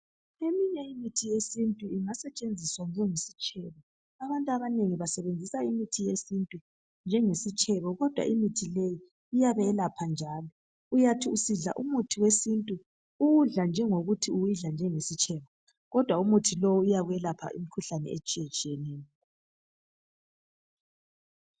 Eminye imithi yesintu ingasetshenziswa njengesitshebo abantu abanengi basebenzisa imithi yesintu njenge sitshebo kodwa imithi leyi iyabelapha njalo uyathi usidla umuthi wesintu uwudla njengokuthi uyidla njani iyisitshebo kodwa umuthi lowu uyelapha imikhuhlane etshiye tshiyeneyo.